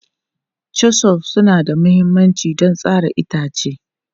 Chisels suna da mahimmanci don tsara itace.